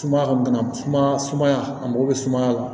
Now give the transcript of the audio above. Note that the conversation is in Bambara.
Sumaya ka bana sumaya a mago bɛ sumaya la